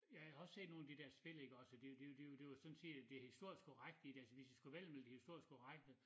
Jeg har også set nogen af de dér spil iggås og det jo det jo det var sådan set historisk korrekt altså hvis de skulle vælge dem ville de historisk korrekte